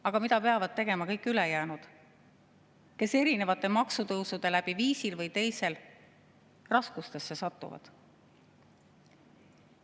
" Aga mida peavad tegema kõik ülejäänud, kes erinevate maksutõusude läbi viisil või teisel raskustesse satuvad?